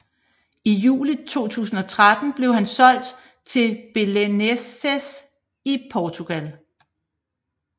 I juli 2013 blev han solgt til Belenenses i Portugal